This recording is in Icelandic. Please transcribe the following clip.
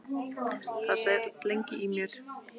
Það sat lengi í mér.